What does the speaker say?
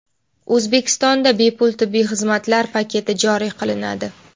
O‘zbekistonda bepul tibbiy xizmatlar paketi joriy qilinadi.